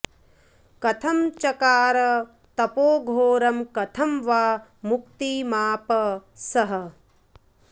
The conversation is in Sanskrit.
कथं चकार तपो घोरं कथं वा मुक्तिमाप सः